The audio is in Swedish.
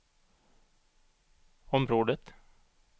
området